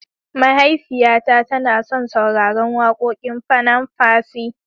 mahaifiya ta tana son sauraran wakoƙin panam percy